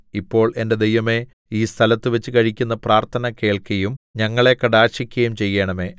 ഇപ്പോൾ എന്റെ ദൈവമേ ഈ സ്ഥലത്തുവച്ച് കഴിക്കുന്ന പ്രാർത്ഥന കേൾക്കുകയും ഞങ്ങളെ കടാക്ഷിക്കുകയും ചെയ്യേണമേ